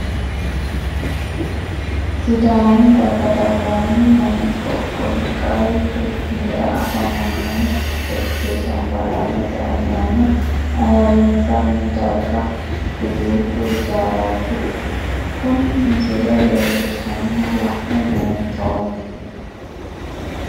Sidaami daga dagoomi manni qoqowi qaru quchumira afamano fechee camballallate ayaanna ayirisanni darga huluuqu hijaarati kunni misile leelishanna la'ne buunxoomo.